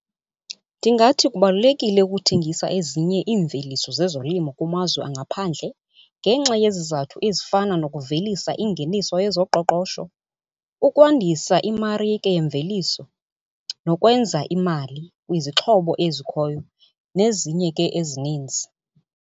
Ndingathi kubalulekile ukuthengisa ezinye iimveliso zezolimo kumazwe angaphandle ngenxa yezizathu ezifana nokuvelisa ingeniso yezoqoqosho, ukwandisa imarike yemveliso nokwenza imali kwizixhobo ezikhoyo, nezinye ke ezininzi.